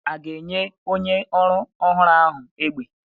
A ga-enye onye ọrụ ọhụrụ ahụ egbe egbe?